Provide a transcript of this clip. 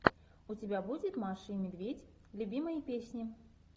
у тебя будет маша и медведь любимые песни